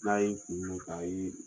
N'a ye kun don k'a ye